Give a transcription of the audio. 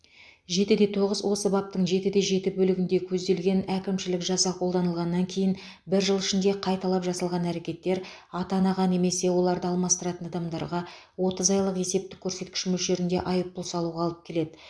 жетіде тоғыз осы баптың жетіде жеті бөлігінде көзделген әкімшілік жаза қолданылғаннан кейін бір жыл ішінде қайталап жасалған әрекеттер ата анаға немесе оларды алмастыратын адамдарға отыз айлық есептік көрсеткіш мөлшерінде айыппұл салуға алып келеді